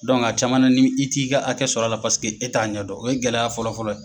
a caman na ni i t'i ka hakɛ sɔrɔ la paseke e t'a ɲɛ dɔn , o ye gɛlɛya fɔlɔ fɔlɔ